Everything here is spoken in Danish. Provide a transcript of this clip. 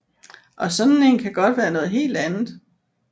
Og sådan en kan godt være noget helt andet